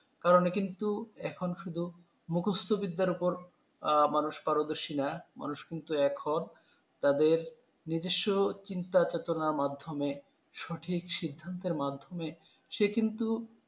কারণে কিন্তু, এখন শুধু মুখস্থ বিদ্যার উপর মানুষ পারদর্শীরা মানুষ কিন্তু এখন তাদের নিজস্ব চিন্তাচেতনার মাধ্যমে সঠিক সিদ্ধান্তের মাধ্যমে, সে কিন্তু